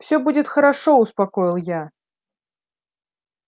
всё будет хорошо успокоил я